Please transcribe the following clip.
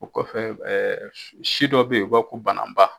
O kɔfɛ si dɔ bɛ ye o b'a fɔ ko bananba.